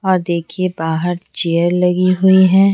और देखिए बाहर चेयर लगी हुई है।